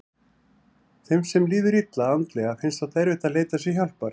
Þeim sem líður illa andlega finnst oft erfitt að leita sér hjálpar.